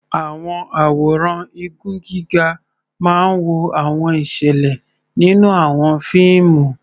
Àwọn àwòrán igun gíga máa ń wo àwọn ìṣẹ̀lẹ̀ nínú àwọn fíìmù.